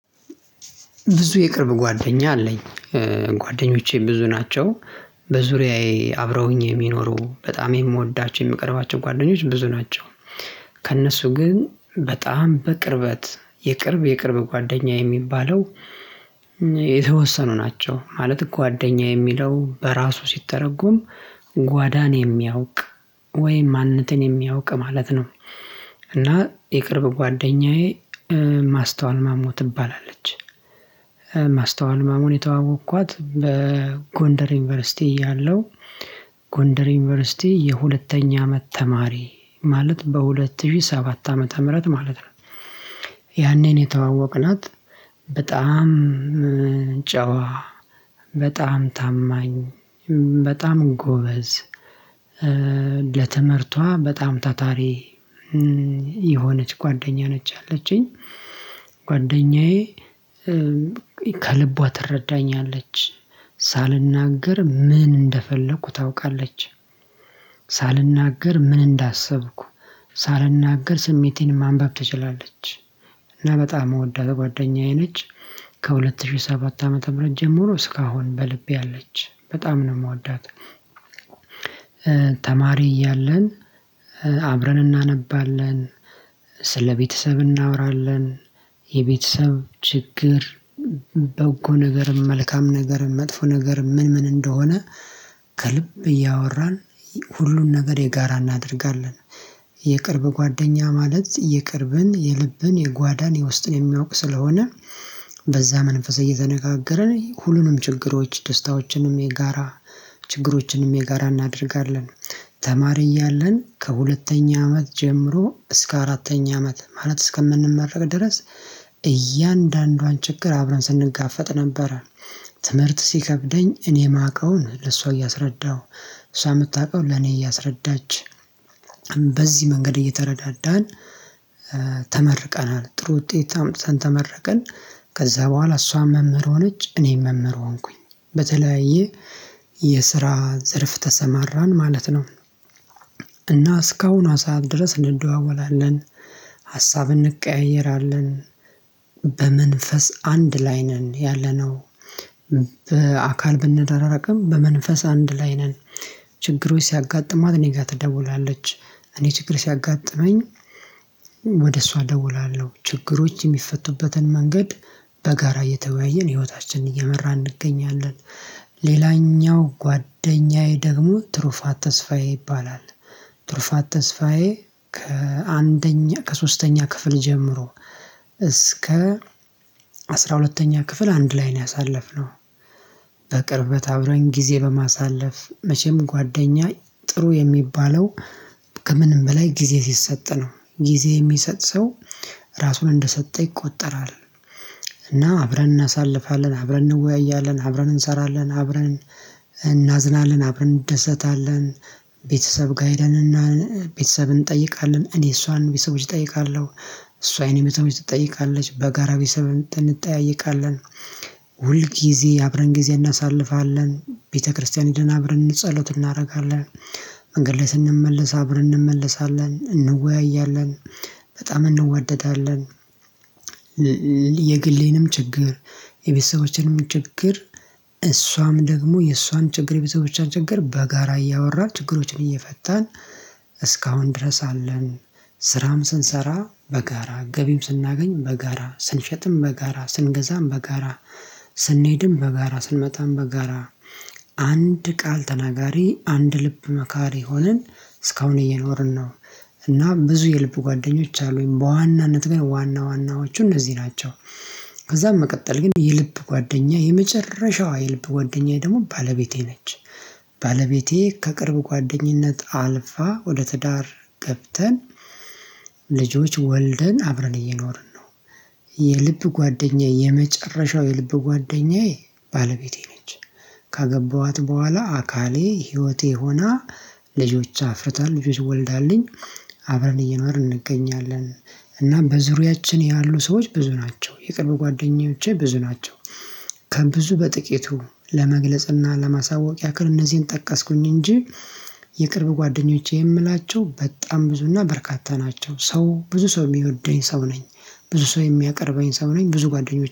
ብዙ የቅርብ ጓደኛ አለኝ። ጓደኞቼ ብዙ ናቸው። በዙሪያዬ አብረውኝ የሚኖሩ በጣም የምወዳቸው የምቀርባቸው ጓደኞች ብዙ ናቸው። ከእነሱ ግን በጣም በቅርበት የቅርብ የቅርብ ጓደኛ የሚባለው። የተወሰኑ ናቸው ማለት ጓደኛ የሚለው በራሱ ሲተረጎም ጓዳን የሚያውቅ ወይም ማንነትን የሚያውቅ ማለት ነው። እና የቅርብ ጓደኛዬ ማስተዋል ማሞ ትባላለች። ማስተዋል ማሞን የተዋወቅኳት በጎንደር ዩኒቨርሲቲ እያለሁ ጎንደር ዩኒቨርሲቲ የሁለተኛ አመት ተማሪ ማለት በሁለት ሺህ ሰባት ዓመተ ምህረት ማለት። ነው የተዋወቅናት በጣም ጨዋ በጣም ታማኝ በጣም ጎበዝ። ለትምህርቷ በጣም ታታሪ የሆነች ጓደኛ ነች ያለችኝ። ጓደኛዬ ከልቧ ትረዳኛለች ሳልናገር ምን እንደፈለኩ ታውቃለች። ማስተዋል ማሞን የተዋወቅኳት በጎንደር ዩኒቨርሲቲ ያለው ጎንደር ዩኒቨርሲቲ የሁለተኛ አመት ተማሪ ማለት በሁለት ሺህ ሰባት ዓመተ ምህረት ማለት ነው። እና በጣም የምወዳት ጓደኛዬ ነች። ከሁለት ሺህ ሰባት ዓመተ ምህረት ጀምሮ እስካሁን በልቤ አለች በጣም ነው የምወዳት። ተማሪ እያለን አብረን እናነባለን። ስለቤተሰብ እናወራለን። የቤተሰብ ችግር በጎ ነገርም መልካም ነገርም መጥፎ ነገርም ምን ምን እንደሆነ ከልብ እያወራን ሁሉን ነገር የጋራ እናደርጋለን። የቅርብ ጓደኛ ማለት የቅርብን የልብን የጓዳን የውስጥን የሚያውቅ ስለሆነ። በዛ መንፈስ እየተነጋገረን ሁሉንም ችግሮች ደስታዎችንም የጋራ ችግሮችንም የጋራ እናደርጋለን። ተማሪ እያለን ከሁለተኛ አመት ጀምሮ እስከ አራተኛ አመት ማለት እስከምንመረቅ ድረስ እያንዳንዷን ችግር አብረን ስንጋፈጥ ነበረ። ትምህርት ሲከብደኝ እኔ የማውቀውን ለሷ እያስረዳሁ እሷ የምታውቀውን ለኔ እያስረዳች በዚህ መንገድ እየተረዳዳን። ተመርቀናል ጥሩ ውጤት አምጥተን ተመረቀን። ከዛ በኋላ እሷም መምህር ሆነች እኔም መምህር ሆንኩኝ በተለያየ የስራ ዘርፍ ተሰማራን ማለት ነው። እና እስካሁን ሰዓት ድረስ እንደዋወላለን። ሀሳብ እንቀያየራለን። በመንፈስ አንድ ላይ ነን ያለነው። በአካል ብንራራቅም በመንፈስ አንድ ላይ ነን። ችግሮች ሲያጋጥማት እኔ ጋር ትደውላለች። እኔ ችግር ሲያጋጥመኝ ወደ እሷ እደውላለሁ ችግሮች የሚፈቱበትን መንገድ በጋራ እየተወያየን ህይወታችንን እየመራን እንገኛለን። ጓደኛዬ ደግሞ ትሩፋት ተስፋዬ ይባላል። ትሩፋት ተስፋዬ ከአንደኛ ከሶስተኛ ክፍል ጀምሮ እስከ አስራ ሁለተኛ ክፍል አንድ ላይ ነው ያሳለፍነው። በቅርበት አብረን ጊዜ በማሳለፍ መቼም ጓደኛ ጥሩ የሚባለው ከምንም በላይ ጊዜ ሲሰጥ ነው ጊዜ የሚሰጥ ሰው ራሱን እንደሰጠ ይቆጠራል። እና አብረን እናሳልፋለን አብረን እንወያያለን አብረን እንሰራለን እናዝናለን አብረን እንደሰታለን። ቤተሰብ ጋር ሄደንና ቤተሰብ እንጠይቃለን እኔ እሷን ቤተሰቦች እጠይቃለሁ። እሷ የእኔን ቤተሰቦች ትጠይቃለች በጋራ ቤተሰብ እንጠያየቃለን። ሁል ጊዜ አብረን ጊዜ እናሳልፋለን ቤተክርስቲያን ሄደን አብረን ጸሎት እናረጋለን። መንገድ ላይ ስንመለስ አብረን እንመለሳለን እንወያያለን። በጣም እንወደዳለን። የግሌንም ችግር የቤተሰቦቼንም ችግር እሷም ደግሞ የእሷን ችግር የቤተሰቦቾን በጋራ እያወራ ችግሮችን እየፈታን እስካሁን ድረስ አለን። ስራም ስንሰራ በጋራ ገቢም ስናገኝ በጋራ ስንሸጥም በጋራ ስንገዛም በጋራ ስንሄድም በጋራ ስንመጣም በጋራ አንድ ቃል ተናጋሪ አንድ ልብ መካሪ ሆነን እስካሁን እየኖርን ነው። እና ብዙ የልቡ ጓደኞች አሉኝ በዋናነት ግን ዋና ዋናዎቹ እነዚህ ናቸው። ከዛም በመቀጠል ግን የልብ ጓደኛዬ የመጨረሻዋ የልብ ጓደኛዬ ደግሞ ባለቤቴ ነች። ባለቤቴ ከቅርብ ጓደኝነት አልፋ ወደ ትዳር ገብተን ልጆች ወልደን አብረን እየኖርን ነው። የልብ ጓደኛዬ የመጨረሻው የልብ ጓደኛዬ ባለቤቴ ነች። ካገባኋት በኋላ አካሌ ህይወቴ ሆና ልጆች አፍርታ ልጆች ወልዳለኝ አብረን እየኖርን እንገኛለን። እናም በዙሪያችን ያሉ ሰዎች ብዙ ናቸው የቅርብ ጓደኞቼ ብዙ ናቸው። ከብዙ በጥቂቱ ለመግለጽና ለማሳወቅ ያክል እነዚህን ጠቀስኩኝ እንጂ የቅርብ ጓደኞቼ የምላቸው በጣም ብዙና በርካታ ናቸው ሰው ብዙ ሰው የሚወደኝ ሰው ነኝ። ብዙ ሰው የሚያቀርበኝ ሰው ነኝ ብዙ ጓደኞች